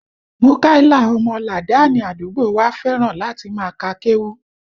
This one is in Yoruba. Múkàílà ọmọ làdáánì àdúgbò wa fẹ́ràn láti máa ka kéwú